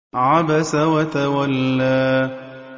عَبَسَ وَتَوَلَّىٰ